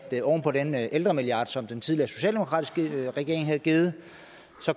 oven på den ældremilliard som den tidligere socialdemokratiske regering havde givet